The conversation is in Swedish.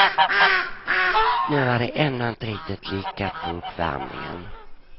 Nu var det ändå inte riktigt lyckat på uppvärmningen.